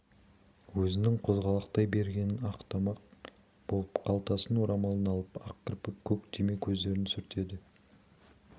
өзінің қозғалақтай бергенін ақтамақ болып қалтасынан орамалын алып ақ кірпік көк түйме көздерін сүртеді